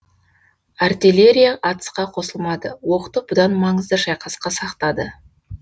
артеллерия атысқа қосылмады оқты бұдан маңызды шайқасқа сақтады